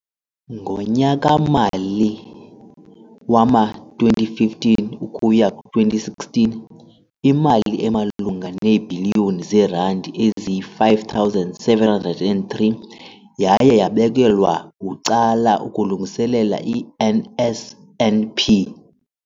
Ngonyaka-mali wama-2015 ukuya ku-16, imali emalunga neebhiliyoni zeerandi eziyi-5 703 yaye yabekelwa bucala ukulungiselela i-NSNP.